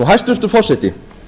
hæstvirtur forseti